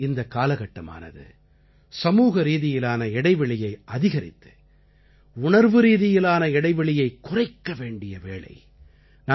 ஒருவகையில் இந்த காலகட்டமானது சமூகரீதியிலான இடைவெளியை அதிகரித்து உணர்வுரீதியிலான இடைவெளியை குறைக்க வேண்டிய வேளை